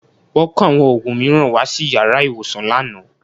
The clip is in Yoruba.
Wọ́n kó àwọn òògùn mìíràn wá sí yàrá ìwòsàn lánàá